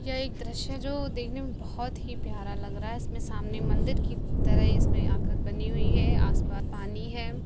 यह एक दृश्य है जो देखने में बोहोत ही प्यारा लग रहा है इसमें सामने मंदिर की तरह इसमें आकृत बनी हुई है आस-पास पानी है।